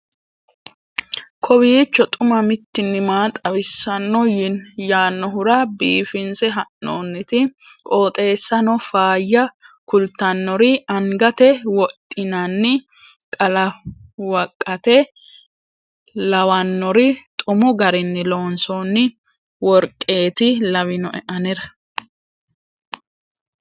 kowiicho xuma mtini maa xawissanno yaannohura biifinse haa'noonniti qooxeessano faayya kultannori angate wodhinanni qalawqate lawannori xumu garinni loonsoonni worqeeti lawinoe anera